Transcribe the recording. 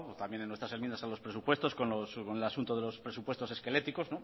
también en nuestras enmiendas a los presupuestos con el asunto de los presupuestos esqueléticos